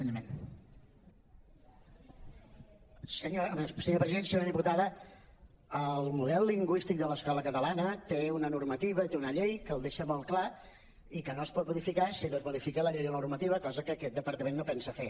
senyora diputada el model lingüístic de l’escola catalana té una normativa té una llei que el deixa molt clar i que no es pot modificar si no es modifica la llei o la normativa cosa que aquest departament no pensa fer